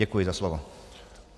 Děkuji za slovo.